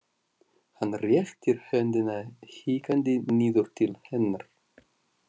Hann réttir höndina hikandi niður til hennar.